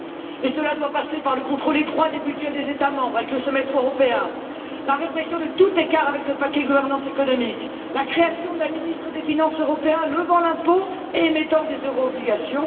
Et cela doit passer par le contrôle étroit des budgets des États membres, avec le semestre européen, la répression de tout écart avec le paquet gouvernance économique, et la création d'un ministre des finances européen levant l'impôt et émettant des euro obligations.